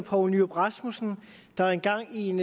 poul nyrup rasmussen der engang i en